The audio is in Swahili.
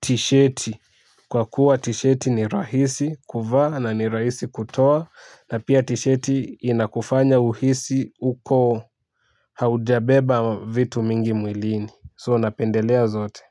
tisheti kwa kuwa tisheti ni rahisi kuvaa na rahisi kutoa na pia tisheti inakufanya uhisi uko haujabeba vitu mingi mwilini so napendelea zote.